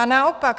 Ba naopak.